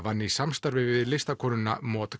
vann í samstarfi við listakonuna